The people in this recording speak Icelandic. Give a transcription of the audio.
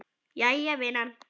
Jæja vinan.